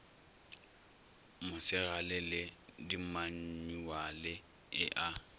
mosegale le dimanyuale e a